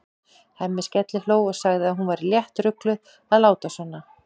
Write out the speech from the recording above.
Hemmi skellihló og sagði að hún væri léttrugluð að láta svona.